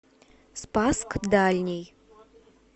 спасск дальний